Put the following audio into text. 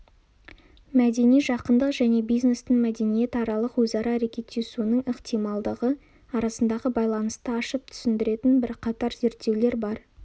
мәдени жақындық және бизнестің мәдениетаралық өзара әрекеттесуінің ықтималдығы арасындағы байланысты ашып түсіндіретін бірқатар зерттеулер бар